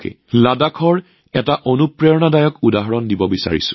লাডাখৰ এক প্ৰেৰণাদায়ক উদাহৰণ আপোনালোক সকলোৰে লগত শ্বেয়াৰ কৰিব বিচাৰিছো